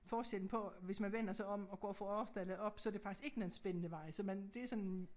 Forskellen på hvis man vender sig om og går fra Aarsdale op så det faktisk ikke nogen spændende vej så man det sådan